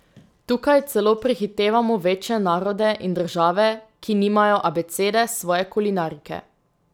Tukaj celo prehitevamo večje narode in države, ki nimajo abecede svoje kulinarike.